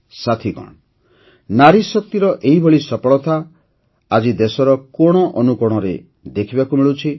ସାଥିଗଣ ନାରୀଶକ୍ତିର ଏହିଭଳି ସଫଳତା ଆଜି ଦେଶର କୋଣ ଅନୁକୋଣରେ ଦେଖିବାକୁ ମିଳୁଛି